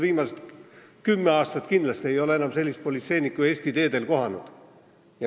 Viimased kümme aastat kindlasti ei ole ma enam sellist politseinikku Eesti teedel kohanud.